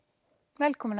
velkomin